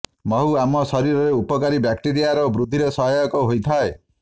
ମହୁ ଆମ ଶରୀରରେ ଉପକାରୀ ବ୍ୟାକ୍ଟେରିଆର ବୃଦ୍ଧିରେ ସହାୟକ ହୋଇଥାଏ